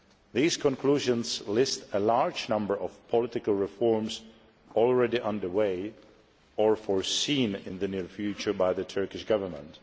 These conclusions list a large number of political reforms already underway or planned for the near future by the Turkish Government.